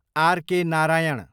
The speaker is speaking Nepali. आर.के. नारायण